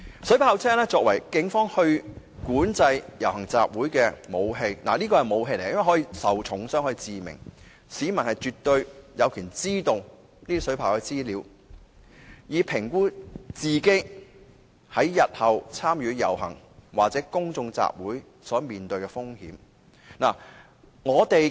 水炮車作為警方管制遊行集會的武器——是武器——可以令人嚴重受傷甚或死亡，市民絕對有權知道水炮車的資料，以評估自己日後參與遊行或公眾集會所面對的風險。